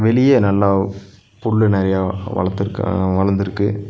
வெளியே நல்லா புல்லு நெறைய வளத்துருக்க வளர்ந்துருக்கு.